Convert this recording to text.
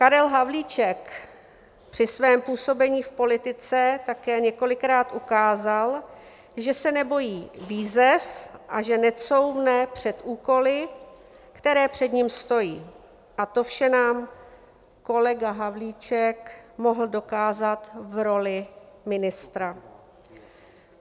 Karel Havlíček při svém působení v politice také několikrát ukázal, že se nebojí výzev a že necouvne před úkoly, které před ním stojí, a to vše nám kolega Havlíček mohl dokázat v roli ministra.